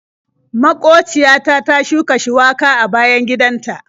Maƙociya ta ta shuka shuwaka a bayan gidan ta.